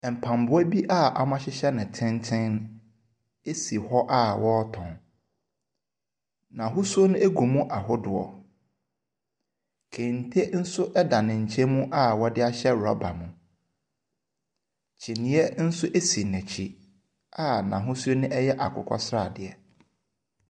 Mpaboa bi a wɔn ahyehyɛ no tenten asi hɔ a wɔretɔn. N’ahosuo no agu mu ahodoɔ, kente nso ɛda ne nkyɛn mu a wɔde ahyɛ rɔba mu. Kyineɛ nso asi n’ekyi a n’ahosuo yɛ akokɔsradeɛ.